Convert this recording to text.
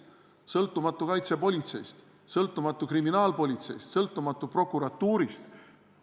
Kas sõltumatu kaitsepolitseist, sõltumatu kriminaalpolitseist või sõltumatu prokuratuurist?